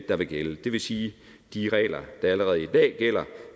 der vil gælde det vil sige de regler der allerede i dag gælder